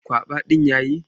Kwaba ɗin ya yi.